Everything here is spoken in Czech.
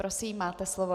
Prosím, máte slovo.